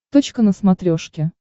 точка на смотрешке